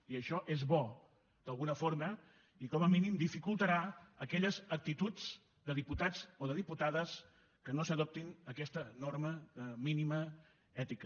i això és bo d’alguna forma i com a mínim dificultarà aquelles actituds de diputats o de diputades que no adoptin aquesta norma mínima ètica